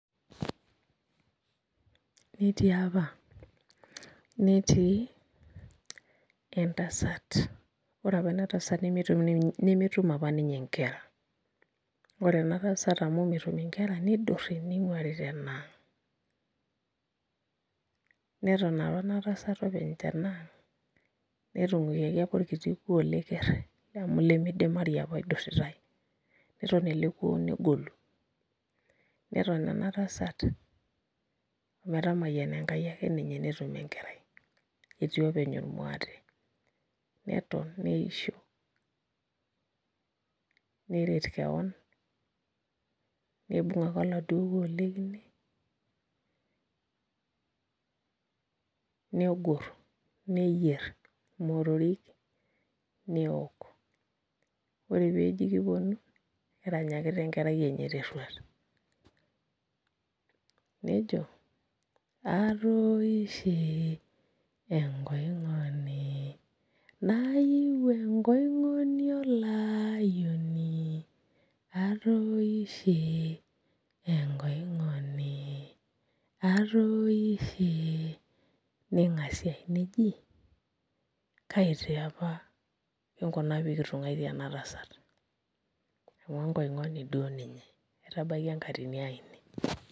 Netii apa, netii entasat. Ore opa ena tasat nemetum opa nkera. Ore ena tasat amu metum nkera nidurri ning'waari tenaang'. Neton opa ena tasat openy tenaang netung'wikiaki opa orkiti kuo lekerr lemidimari opa idurritae. Neton ele kuo negolu, neton ena tasat ometamayiana enkai ake ninye netum enkerai etii openy ormwaate. Neton neisho nerret keon, nibung' ake oladuo kuo le kine negorr, neyierr motorik neok. Ore peeji kipwonu, egira aranyaki enkerai enye terruarr. Nejo, atoishe enkoing'oni, naiu enkoing'oni olayioni, atoishe enkoing'oni, atooshe. Ning'asiae neji kai taa opa kinkuna pee kitung'waitie ena tasat amu enkoing'oni duo ninye. Naitabaiki enkaatini ai ine